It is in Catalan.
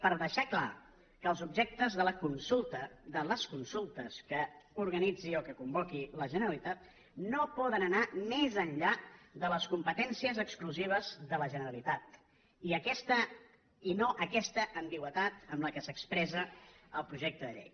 per deixar clar que els objectes de la consulta de les consultes que organitzi o que convoqui la generalitat no poden anar més enllà de les competències exclusives de la generalitat i no aquesta ambigüitat amb què s’expressa el projecte de llei